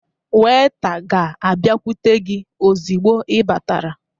Weta ga-abịakwute gị ozugbo ị batara